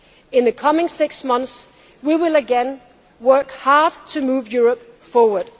In the coming six months, we will again work hard to move Europe forward.